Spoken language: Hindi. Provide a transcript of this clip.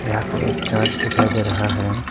यहां पे एक चर्च दिखाई दे रहा है।